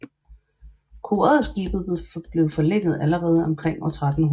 Koret og skibet blev forlænget allerede omkring år 1300